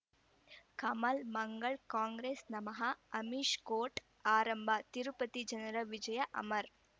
ಕಮಲ್ ಮಂಗಳ್ ಕಾಂಗ್ರೆಸ್ ನಮಃ ಅಮಿಷ್ ಕೋರ್ಟ್ ಆರಂಭ ತಿರುಪತಿ ಜನರ ವಿಜಯ ಅಮರ್